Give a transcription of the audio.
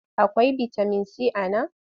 Akwai bitamin si a nan?